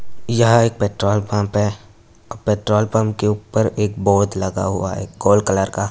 यहाँ एक petrol pump है। पेट्रोल पंप के ऊपर लगा हुआ है कलर का।